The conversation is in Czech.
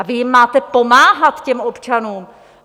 A vy jim máte pomáhat, těm občanům.